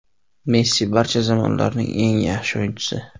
Messi barcha zamonlarning eng yaxshi o‘yinchisi.